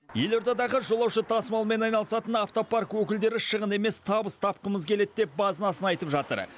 елордадағы жолаушы тасымалымен айналысатын автопарк өкілдері шығын емес табыс тапқымыз келеді деп базынасын айтып жатыр